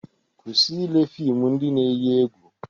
Kwụsị ile fịmụ ndị na-eyi egwu!